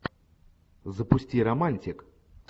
запусти романтик